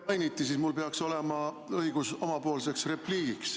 Kuna minu nime mainiti, siis mul peaks olema õigus omapoolseks repliigiks.